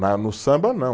Na no samba, não.